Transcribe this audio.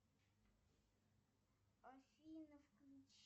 афина включи